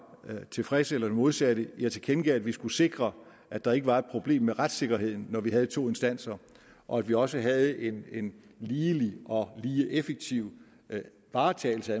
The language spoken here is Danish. tilfreds eller det modsatte jeg tilkendegav at vi skulle sikre at der ikke var et problem med retssikkerheden når vi havde to instanser og at vi også havde en en ligelig og lige effektiv varetagelse